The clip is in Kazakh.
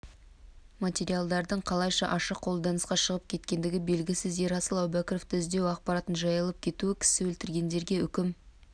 материалдардың қалайша ашық қолданысқа шығып кеткендігі белгісіз ерасыл әубәкіровты іздеу ақпараттың жайылып кетуі кісі өлтіргендерге үкім